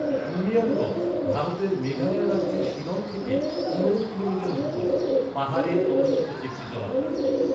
উমিয়াম হ্রদ ভারতের মেঘালয় রাজ্যের শিলং থেকে পনেরো কিলোমিটার উত্তরে, পাহাড়ে অবস্থিত একটি জলাধার।